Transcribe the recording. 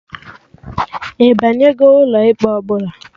Ịbanyego ụlọ ikpe ọbụla?